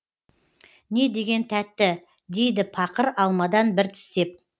не деген тәтті дейді пақыр алмадан бір тістеп